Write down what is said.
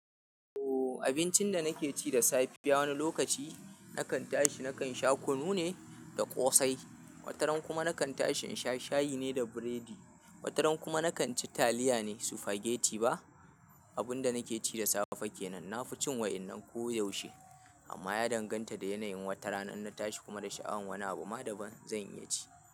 Ooo abincin da nake ci da safe ya wani lokaci nakan tashi nakan sha kunu ne da ƙosai, wataran kuma nakan tashi in sha shayi ne da biredi, wataran kuma nakan ci taliya ne, sufageti ba. Abun da nake ci da safe kenan. Na fi cin wa innan ko yaushe, amma ya danganta da yanayin wata. Ranar na tashi kuma da sha'awan wani abu ma daban zan iya ci.